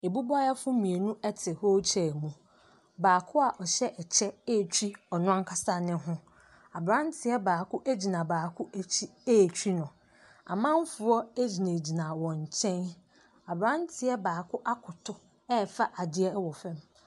Mmubuafo mmienu ɛte wheel chair mu. Baako a ɔhyɛ ɛkyɛ atwi ɔno ankasa ne ho. Abranteɛ baako agyina baako akyi atwi no. Amanfoɔ agyina gyina wɔn nkyɛn. Abranteɛ baako akoto ɛfa adeɛ ɛwɔ fam.